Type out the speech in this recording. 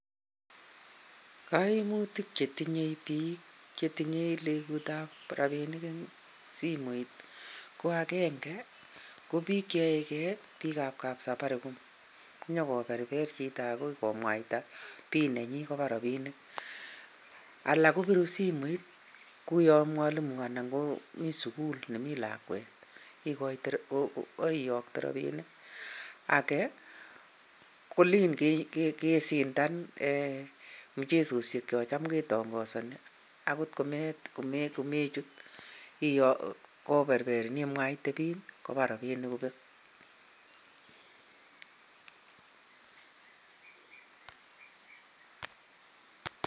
Koimutik chetinye biik chetinye legutab rabinik en simoit ko agenge, ko biik cheyoege biikab kap Safaricom konyokoberber chitap biik komwaita PIN nenyin kobaa rabinik. Alak kobiru simoit kouyon mwalimu anan ko mi sugul nemi lakwet kiyokto robinik. Age, kolen kesindan mchesoshek chon tam kitongozoni akot ko mechut koberberin imwaite PIN kobaa robinik kobek.